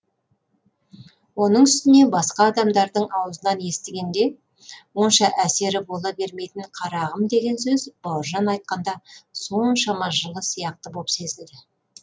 оның үстіне басқа адамдардың аузынан естігенде онша әсері бола бермейтін қарағым деген сөз бауыржан айтқанда соншама жылы сияқты боп сезілді